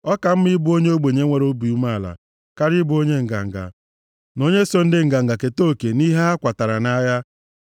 Ọ ka mma ịbụ onye ogbenye nwere obi umeala karịa ịbụ onye nganga, na onye so ndị nganga keta oke nʼihe ha kwatara nʼagha.